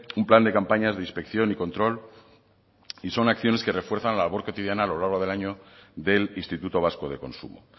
un plan de campañas de inspección y control y son acciones que refuerzan la labor cotidiana a lo largo del año del instituto vasco de consumo